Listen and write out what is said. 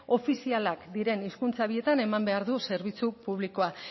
ofizialak diren hizkuntza bietan eman behar du zerbitzu publikoa